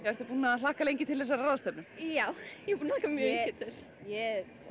ertu búin að hlakka mikið til þessara ráðstefnu já mjög mikið ég